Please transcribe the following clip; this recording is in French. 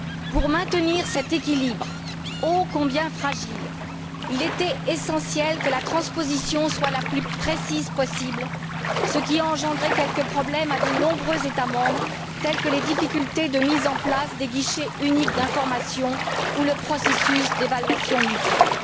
Pour maintenir cet équilibre ô combien fragile, il était essentiel que la transposition soit la plus précise possible, ce qui a engendré quelques problèmes pour de nombreux États membres, tels que les difficultés de mise en place des guichets uniques d'information ou le processus d'évaluation mutuelle.